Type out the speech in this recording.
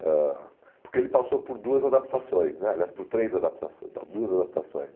ãh Porque ele passou por duas adaptações né, aliás, por três adaptações, não, duas adaptações, né